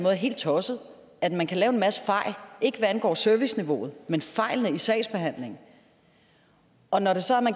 er helt tosset at man kan lave en masse fejl ikke hvad angår serviceniveauet men fejl i sagsbehandlingen og når vi så